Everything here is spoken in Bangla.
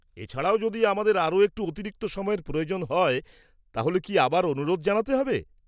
-এছাড়াও, যদি আমাদের আরও একটু অতিরিক্ত সময়ের প্রয়োজন হয় তাহলে কি আবার অনুরোধ জানাতে হবে?